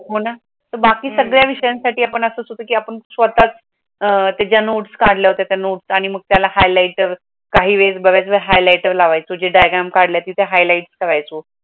हो ना, बाकी सगळ्या विषयांसाठी आपण असं सुद्धा की आपण स्वतः अह त्याच्य नोट्स काढल्या होत्या त्य नोट्सआणि मग त्याला highlighter काही वेढ बरचड highlighter लावायचे, महाणजे highlight करायचे.